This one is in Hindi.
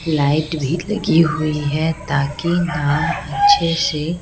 लाइट भी लगी हुई है ताकि नाम अच्छे से--